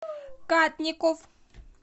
кадников